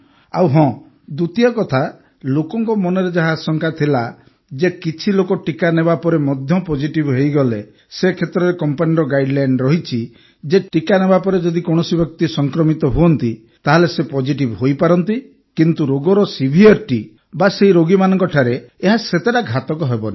ଆଉ ହଁ ଦ୍ୱିତୀୟ କଥା ଲୋକଙ୍କ ମନରେ ଯାହା ଆଶଙ୍କା ଥିଲା ଯେ କିଛି ଲୋକ ଟିକା ନେବାପରେ ମଧ୍ୟ ପଜେଟିଭ୍ ହୋଇଗଲେ ସେ କ୍ଷେତ୍ରରେ କମ୍ପାନୀର ଗାଇଡ୍ଲାଇନ୍ ରହିଛି ଯେ ଟିକା ନେବାପରେ ଯଦି କୌଣସି ବ୍ୟକ୍ତି ସଂକ୍ରମିତ ହୁଅନ୍ତି ତା ହେଲେ ସେ ପଜିଟିଭ୍ ହୋଇପାରନ୍ତି କିନ୍ତୁ ରୋଗର ସିଭିୟରିଟି ବା ସେହି ରୋଗୀମାନଙ୍କଠାରେ ଏହା ସେତେଟା ଘାତକ ହେବନି